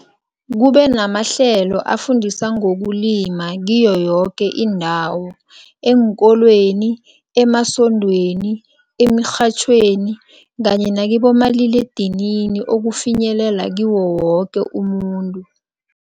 Kube namahlelo afundisa ngokulima kiyo yoke indawo, eenkolweni, emasondweni, emirhatjhweni kanye nakibomaliledinini ukufinyelela kiwo woke umuntu.